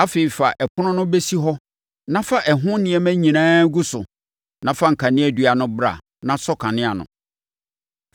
Afei, fa ɛpono no bɛsi hɔ na fa ɛho nneɛma nyinaa gu so na fa kaneadua no bra na sɔ kanea no.